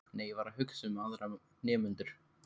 Nei, ég var ekki að hugsa um aðra nemendur.